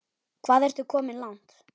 Hvað ertu komin langt?